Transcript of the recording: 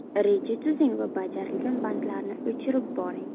Reja tuzing va bajarilgan bandlarni o‘chirib boring.